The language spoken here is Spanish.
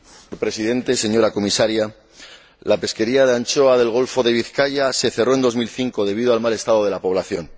Señor Presidente, señora Comisaria, la pesquería de anchoa del Golfo de Vizcaya se cerró en 2005 debido al mal estado de la población.